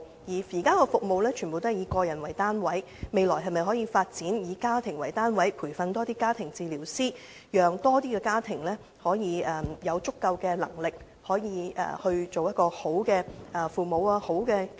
現時的服務全部以個人為單位，未來可否發展以家庭為單位的服務及培訓更多家庭治療師，讓更多家庭的父母有足夠能力做好其角色？